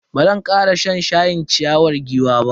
Bazan kara shan shayin ciyawar giwa ba.